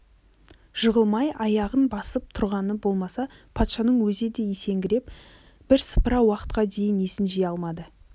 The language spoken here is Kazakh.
жығылмай аяғын басып тұрғаны болмаса патшаның өзі де есеңгіреп бірсыпыра уақытқа дейін есін жия алмады